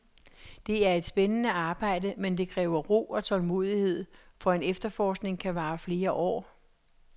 Det er et spændende arbejde, men det kræver ro og tålmodighed, for en efterforskning kan vare flere år.